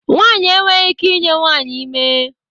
Nwanyị enweghị ike I nye nwanyị ime.